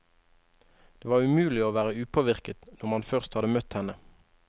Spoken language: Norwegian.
Det var umulig å være upåvirket når man først hadde møtt henne.